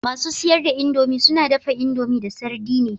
Masu siyar da indomie suna dafa indomie da sardine